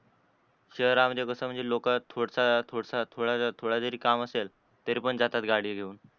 शहरा मध्ये कस लोक थोडस थोडस थोड थोड जरी काम असल, तरी पण जातात गाडी घेवून